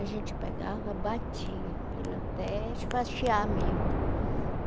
A gente pegava, batia aquilo até mesmo.